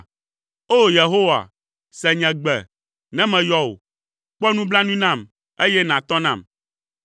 O! Yehowa, se nye gbe, ne meyɔ wò; kpɔ nublanui nam, eye nàtɔ nam.